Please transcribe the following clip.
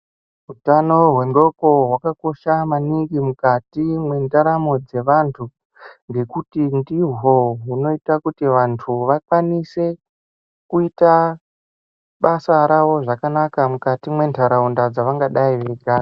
Utano hwendxondo hwakakosha maningi mukati mwendaramo dzevantu ngekuti ndihwo hwunoita kuti vantu vakwanise kuita basa ravo zvakanaka mukati mentaraunda dzevanenge veigara.